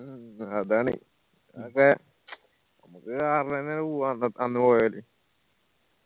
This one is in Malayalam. മ്മ് അതാണ് ഞമ്മക്ക് car എന്നെ പോവാന്ന് അന്ന് പോ